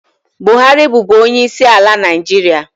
Buhari bụbu onye isi ala Naịjirịa.